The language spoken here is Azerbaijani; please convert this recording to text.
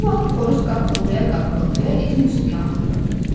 Bu vaxt xoruz qaqqıldaya-qaqqıldaya itin üstünə atılırdı.